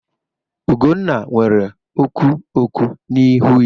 Ugwunna nwere oku oku n'ihu ya.